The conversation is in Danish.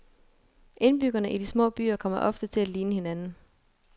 Indbyggerne i de små byer kommer ofte til at ligne hinanden.